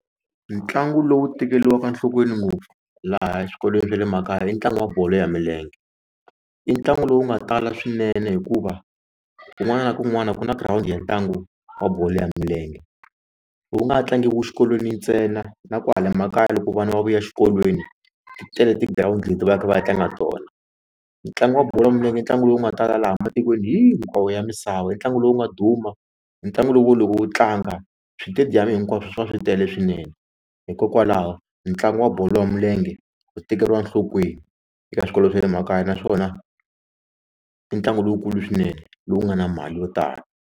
Ntlangu lowu tekeriwaka enhlokweni ngopfu laha xikolweni swa le makaya i ntlangu wa bolo ya milenge i ntlangu lowu nga tala swinene hikuva kun'wana na kun'wana ku na girawundi ya ntlangu wa bolo ya milenge lowu nga tlangiwa xikolweni ntsena na kwahala makaya loko vana va vuya exikolweni ti tele tigirawundi leti va yaka va ya tlanga tona ntlangu wa bolo ya milenge i ntlangu lowu nga tala laha matikweni hinkwawo ya misava i ntlangu lowu nga duma ntlangu lowu loko wu tlanga switediyamu hinkwaswo swi va swi tele swinene hikokwalaho ntlangu wa bolo ya milenge wu tekeriwa enhlokweni eka swikolo swa le makaya naswona i ntlangu lowukulu swinene lowu nga na mali yo tala.